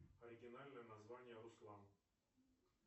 оригинальное название руслан